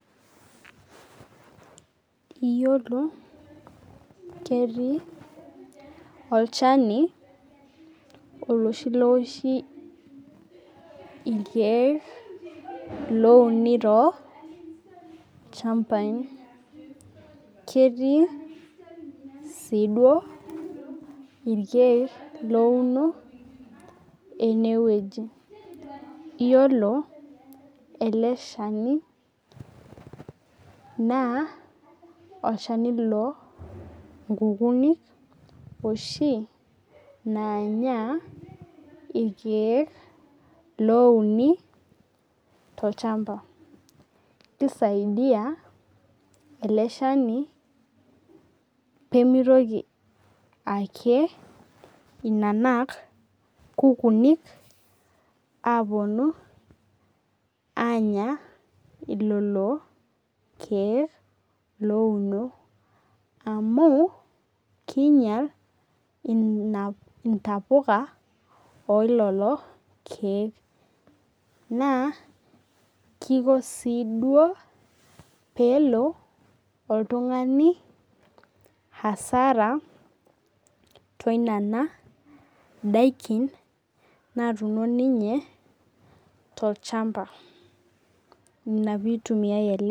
Iyiolo ketii olchani oloshi looshi irkeek louni too ilchambai. Keeti sii duo irkeek louno eneweji. Iyiolo le shani na olchani loo nkukuni oshi loonya irkeek louni to lchamba. Kei saidia ele shanj pemitoki ake inanak kukunik apuonu anya lelo keek louno. Amu kinyal ina ntapuka oo lelo keek. Na kiko sii duo pelo oltung'ani hasara too inena daikini natuno ninye tolchamba. Ina peitumia ele.